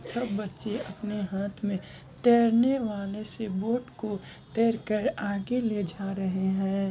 सब बच्चे अपने हाथ में तैरने वाले से बोट को तैर के आगे ले जा रहें हैं।